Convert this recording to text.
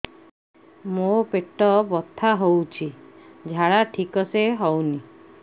ମୋ ପେଟ ବଥା ହୋଉଛି ଝାଡା ଠିକ ସେ ହେଉନି